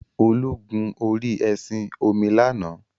Olu gun orí ẹṣin-omi lánàá.